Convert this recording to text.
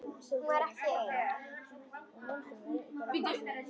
Var hún ekki ein?